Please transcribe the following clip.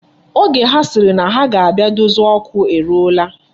Oge ha sịrị na ha ga-abịa dozie okwu eruwala.